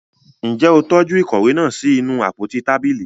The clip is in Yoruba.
Njẹ o tọju ìkòwé náà sí inú àpótí tábìlì?